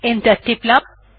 enter টিপলাম